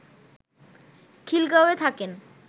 খিলগাঁওয়ে থাকেন